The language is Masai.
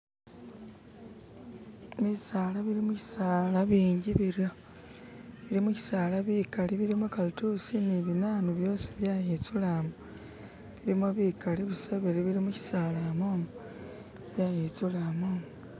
bisaala bili mushisali binji biryo, bilimushisali bikali bilimu kalitusi binanu byosi byayitsula mo bilimo bikali busa bili mushisala momo byayitsula momo